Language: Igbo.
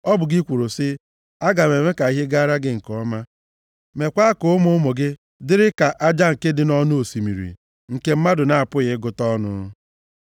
Ọ bụ gị kwuru sị, ‘Aga m eme ka ihe gaara gị nke ọma, meekwa ka ụmụ ụmụ gị dịrị ka aja nke dị nʼọnụ osimiri, nke mmadụ na-apụghị ịgụta ọnụ.’ ”